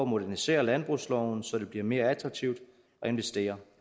modernisere landbrugsloven så det bliver mere attraktivt at investere